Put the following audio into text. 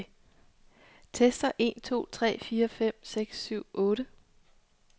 Tester en to tre fire fem seks syv otte.